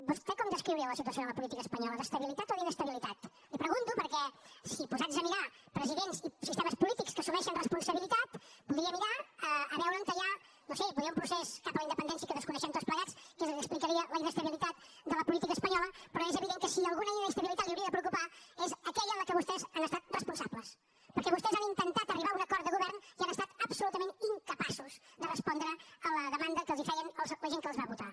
vostè com descriuria la situació de la política espanyola d’estabilitat o d’inestabilitat li ho pregunto perquè si posats a mirar presidents i sistemes polítics que assumeixen responsabilitat podria mirar a veure on hi ha no ho sé potser un procés cap a la independència que desconeixem tots plegats que és el que explicaria la inestabilitat de la política espanyola però és evident que si alguna inestabilitat l’hauria de preocupar és aquella en la qual vostès han estat responsables perquè vostès han intentat arribar a un acord de govern i han estat absolutament incapaços de respondre a la demanda que els feien la gent que els va votar